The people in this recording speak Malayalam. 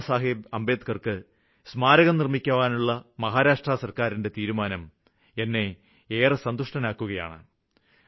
ബാബാസാഹേബ് അംബേദ്ക്കര്ക്ക് സ്മാരകം നിര്മ്മിക്കുവാനുള്ള മഹാരാഷ്ട്ര സര്ക്കാരിന്റെ തീരുമാനം എന്നെ ഏറെ സന്തുഷ്ടനാക്കുകയാണ്